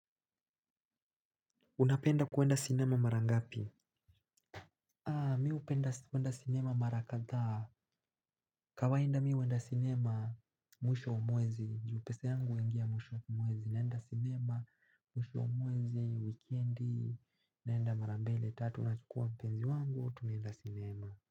Unapenda kuenda sinema mara ngapi? Mi hupenda kuenda sinema mara kadhaa. Kawaida mi huenda sinema mwisho wa mwezi. Juu pesa yangu huingia mwisho wa mwezi. Naenda sinema mwisho wa mwezi wikendi. Naenda mara mbili tatu. Nachukua mpenzi wangu, tunaenda sinema.